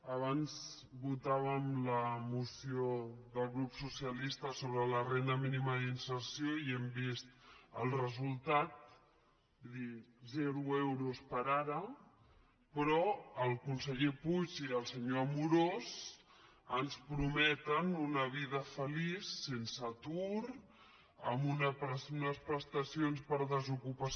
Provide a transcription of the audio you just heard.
abans votàvem la moció del grup socialista sobre la renda mínima d’inserció i hem vist el resultat és a dir zero euros per ara però el conseller puig i el senyor amorós ens prometen una vida feliç sense atur amb unes prestacions per des ocupació